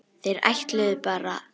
Þeir ætluðu bara.